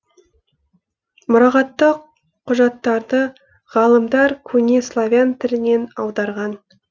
мұрағаттық құжаттарды ғалымдар көне славян тілінен аударған